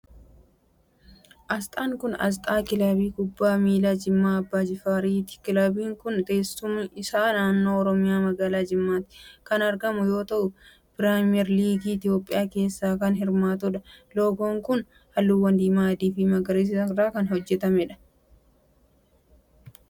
Asxaan kun, asxaa kilabii kubbaa miilaa Jimmaa Abbaa JIfaariti. Kilabiin kun, teessumni isaa naannoo Oromiyaa magaalaa Jimmaatti kan argamu yoo ta'u, Pirimeer liigii Itoophiyaa keessatti kan hirmaatu dha. Loogoon kun, haalluuwwan diimaa ,adii fi magariisa irraa hojjatame. Kilabiin kun, bara kam hundaa'e?